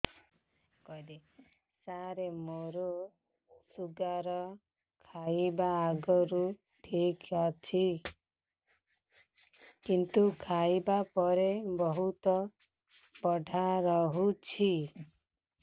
ସାର ମୋର ଶୁଗାର ଖାଇବା ଆଗରୁ ଠିକ ଅଛି କିନ୍ତୁ ଖାଇବା ପରେ ବହୁତ ବଢ଼ା ରହୁଛି